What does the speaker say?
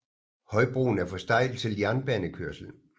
Højbroen er for stejl til jernbanekørsel